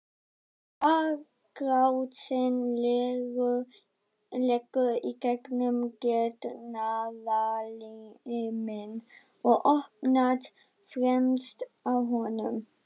Þvagrásin liggur í gegnum getnaðarliminn og opnast fremst á honum.